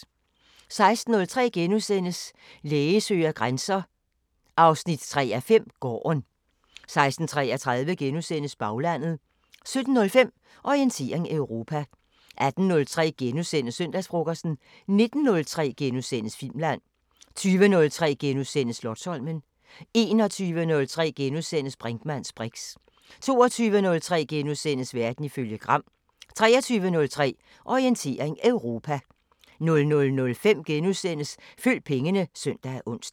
16:03: Læge søger grænser 3:5 – Gården * 16:33: Baglandet * 17:05: Orientering Europa 18:03: Søndagsfrokosten * 19:03: Filmland * 20:03: Slotsholmen * 21:03: Brinkmanns briks * 22:03: Verden ifølge Gram * 23:03: Orientering Europa 00:05: Følg pengene *(søn og ons)